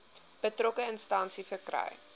betrokke instansie verkry